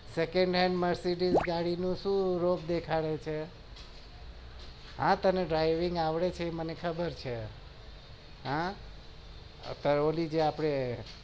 second hand mercedes ગાડી ને શું દેખાડે છે હા driving આવડે છે મને ખબર છે ઓંલી હા